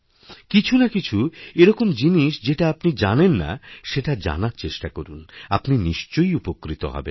কিছু না কিছুএরকম জিনিস যেটা আপনি জানেন না সেটা জানার চেষ্টা করুন আপনি নিশ্চয়ই উপকৃত হবেন